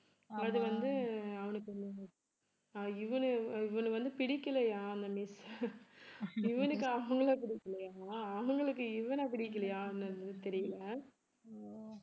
அது வந்து அவனுக்கு அஹ் இவன இவன வந்து பிடிக்கலையாம் அந்த miss இவனுக்கு அவங்களை பிடிக்கலையா அவங்களுக்கு இவனை பிடிக்கலையான்னு தெரியலே